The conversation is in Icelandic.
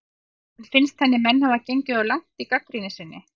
En finnst henni menn hafa gengið of langt í gagnrýni sinni?